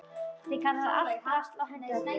Þeir kalla allt drasl og henda öllu.